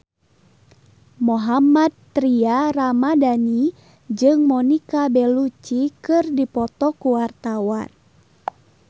Mohammad Tria Ramadhani jeung Monica Belluci keur dipoto ku wartawan